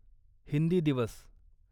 हिंदी दिवस